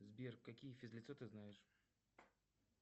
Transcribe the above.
сбер какие физ лица ты знаешь